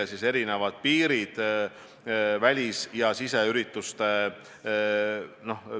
Eks me peame rääkima ka kiirabist, meditsiinivaldkonnast, mis on samuti olulised teenused.